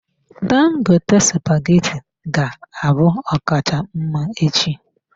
Dangote spaghetti ga-abụ ọkacha mma echi.